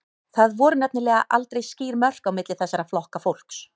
Það voru nefnilega aldrei skýr mörk á milli þessara flokka fólks.